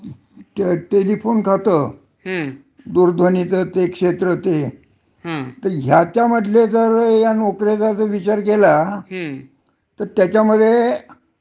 Telephone खात, हं. दूरध्वनीच ते एक क्षेत्र ते. हं. तर ह्याच्या मधले जर या नोकऱ्यांचा जर विचार केला, हं. तर त्याच्यामध्ये